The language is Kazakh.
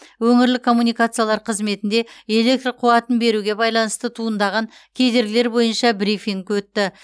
өңірлік коммуникациялар қызметінде электр қуатын беруге байланысты туындаған кедергілер бойынша брифинг өтті